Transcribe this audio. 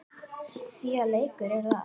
Því að leikur er það.